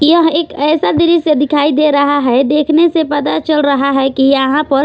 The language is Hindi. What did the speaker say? यह एक ऐसा दृश्य दिखाई दे रहा है देखने से पता चल रहा है कि यहां पर--